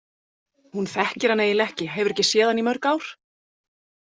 Hún þekkir hann eiginlega ekki, hefur ekki séð hann í mörg ár.